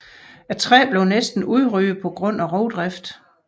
Træet blev næsten udryddet på grund af rovdrift